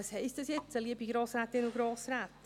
Was heisst dies nun, liebe Grossrätinnen und Grossräte?